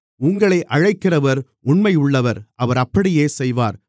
உங்களை அழைக்கிறவர் உண்மையுள்ளவர் அவர் அப்படியே செய்வார்